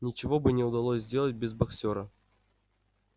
ничего бы не удалось сделать без боксёра